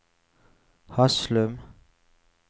Haslum